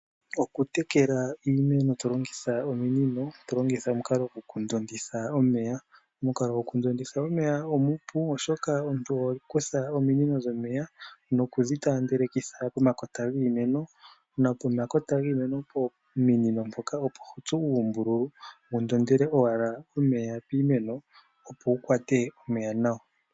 Okutekela iimeno tolongitha ominino, ano omukalo gwoku ndonditha omeya. Omukalo gwoku ndonditha omeya omupu, oshoka omuntu oho kutha ominino dhomeya, nokudhi taandelitha pomakota giimeno, nopomakota giimeno mpoka meni opo tsu oombululu, unndondele owala omeya piimeno, opo wu kwate omeya nawa.